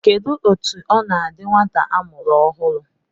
Kedụ etu ọ na-adị nwata a mụrụ ọhụụ?